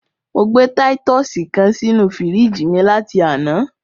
Mo gbé títùsì kan sínú fíríjì mi láti àná.